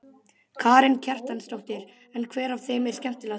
Karen Kjartansdóttir: En hver af þeim er skemmtilegastur?